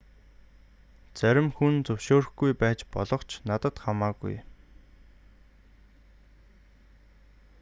зарим хүн зөвшөөрөхгүй байж болох ч надад хамаагүй